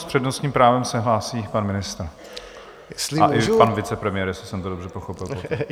S přednostním právem se hlásí pan ministr a i pan vicepremiér, jestli jsem to dobře pochopil.